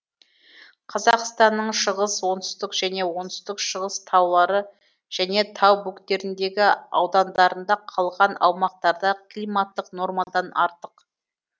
қазақстанның шығыс оңтүстік және оңтүстік шығыс таулары және тау бөктеріндегі аудандарында қалған аумақтарда климаттық нормадан артық